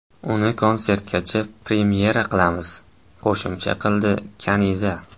Uni konsertgacha premyera qilamiz”, qo‘shimcha qildi Kaniza.